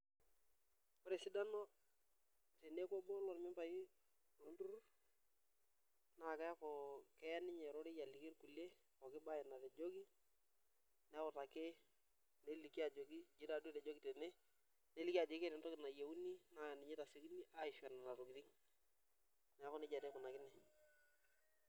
Ore esidano teniaku obo lormembai lolturur na keaku keya ninye ororei aliki irkulie pookin bae natejoki neutaki neliki ajoki nji taatoi etojokitene neliki ajo keeta entoki nayieuni na ninye ishori nona tokitin neaku nejia taa ikunakino.